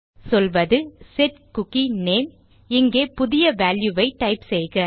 சொல்வது set cookie name இங்கே புதிய வால்யூ ஐ டைப் செய்க